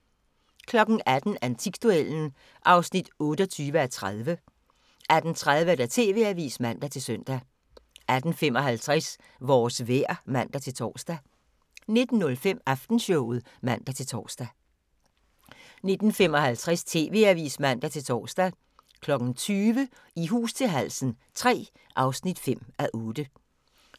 18:00: Antikduellen (28:30) 18:30: TV-avisen (man-søn) 18:55: Vores vejr (man-tor) 19:05: Aftenshowet (man-tor) 19:55: TV-avisen (man-tor) 20:00: I hus til halsen III (5:8)